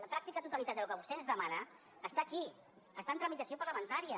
la pràctica totalitat del que vostè ens demana està aquí està en tramitació parlamentària